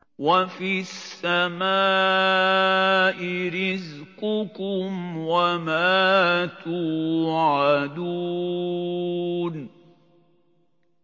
وَفِي السَّمَاءِ رِزْقُكُمْ وَمَا تُوعَدُونَ